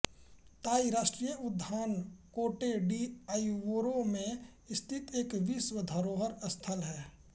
ताई राष्ट्रीय उद्यान कोटे डी आइवोरे मे स्थित एक विश्व धरोहर स्थल है